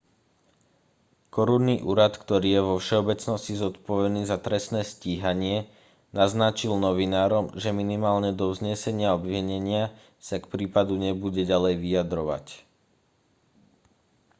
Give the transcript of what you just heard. korunný úrad ktorý je vo všeobecnosti zodpovedný za trestné stíhanie naznačil novinárom že minimálne do vznesenia obvinenia sa k prípadu nebude ďalej vyjadrovať